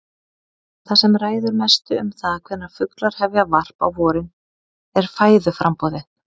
Það sem ræður mestu um það hvenær fuglar hefja varp á vorin er fæðuframboðið.